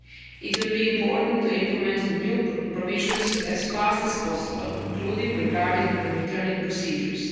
It will be important to implement the new provisions as fast as possible, including regarding the return procedures.